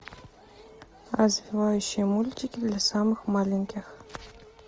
развивающие мультики для самых маленьких